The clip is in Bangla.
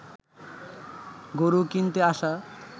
গরু কিনতে আসা